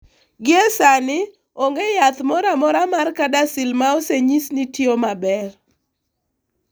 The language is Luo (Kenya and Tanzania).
Gie sani, onge yath moro amora mar CADASIL ma osenyis ni tiyo maber.